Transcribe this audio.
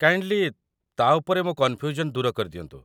Kindly , ତା' ଉପରେ ମୋ କନ୍‌ଫ୍ୟୁଜନ୍ ଦୂର କରିଦିଅନ୍ତୁ?